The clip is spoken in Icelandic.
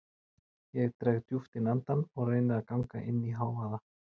Ég dreg djúpt inn andann og reyni að ganga inn í hávaða